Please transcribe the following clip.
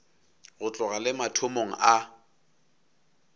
go tloga le mathomong a